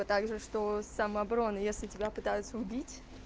а также что самообороны если тебя пытаются убить